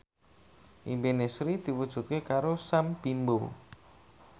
impine Sri diwujudke karo Sam Bimbo